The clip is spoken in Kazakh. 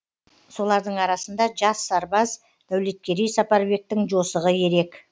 солардың арасында жас сарбаз дәулеткерей сапарбектің жосығы ерек